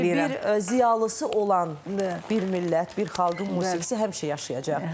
Sizin kimi bir ziyalısı olan bir millət, bir xalqın musiqisi həmişə yaşayacaq.